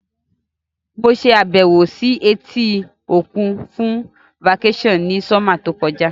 Mo sàbẹ̀wò si etí òkun fun vacation ni summer to kojá